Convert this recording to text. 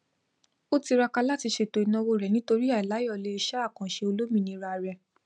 o tiraka látí ṣètò ìnáwó rẹ nitori àìláyọlé iṣẹ àkànṣe olómìnira rẹ